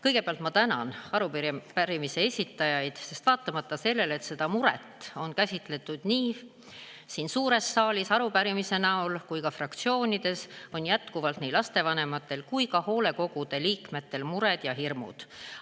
Kõigepealt ma tänan arupärimise esitajaid, sest vaatamata sellele, et seda muret on käsitletud nii siin suures saalis arupärimise näol kui ka fraktsioonides, on lastevanematel ja hoolekogude liikmetel jätkuvalt mured ja hirmud.